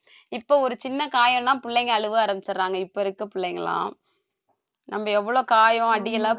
இப்போ ஒரு சின்ன காயம்ன்னா பிள்ளைங்க அழுவ ஆரம்பிச்சறாங்க இப்ப இருக்க பிள்ளைங்க எல்லாம் நம்ம எவ்ளோ காயம் அடியெல்லாம் பட்டிருக்கோம் எவ்ளோ jo~